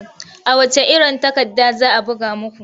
A wacce iron takarda za a buga muku?